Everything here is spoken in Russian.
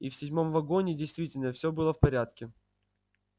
и в седьмом вагоне действительно все было в порядке